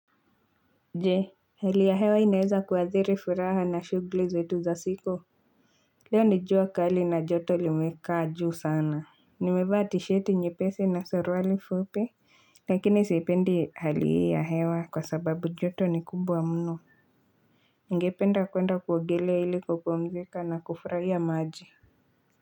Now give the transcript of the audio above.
Je hali ya hewa inaeza kuathiri furaha na shugli zetu za siku leo ni jua kali na joto limekaa juu sana nimevaa tisheti nyepesi na saruali fupi lakini sipendi hali hii ya hewa kwa sababu joto ni kumbwa mno nigependa kuenda kuogelea ili kupumzika na kufraia maji.